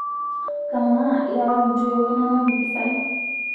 kamaa irewaki ntoiu inonok mpisai